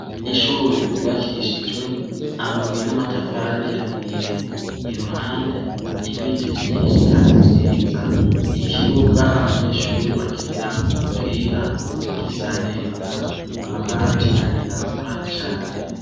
Ishure ryubakishijwe amabuye n' amatafar'ahiye, iruhande ibiti vyinshi kandi vyiza, ikibuga abanyeshure bakiniramw' umupira gisa neza, amabati arirabura cane.